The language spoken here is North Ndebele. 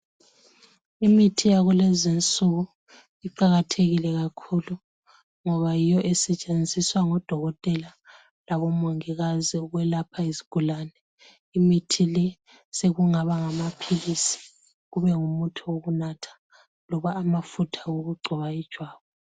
Imithi yakulezinsuku iqakathekile kakhulu ngoba yiyo esetshenziswa ngodokotela labomongikazi ukwelapha izigulane. Imithi le sekungaba ngamaphilisi kube ngomuthi wokunatha loba amafutha wokugcoba ijwabu.